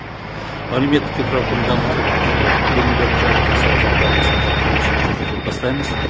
әлеуметтік инфрақұрылымды дамыту білім беру және денсаулық сақтау нысандар құрылысын жүргізуді бастаймыз